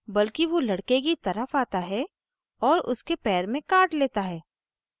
बल्कि वो लड़के की तरफ आता है और उसके पैर में काट लेता है